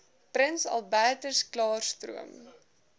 prins albertklaarstroom